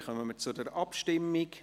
Somit kommen wir zur Abstimmung.